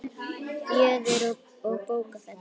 Fjöður og bókfell